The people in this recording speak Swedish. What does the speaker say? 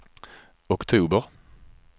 oktober